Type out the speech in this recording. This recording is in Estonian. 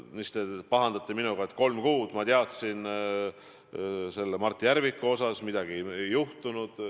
Veel te pahandate minuga, et kolm kuud ma teadsin Mart Järviku tegemisi, aga midagi ei juhtunud.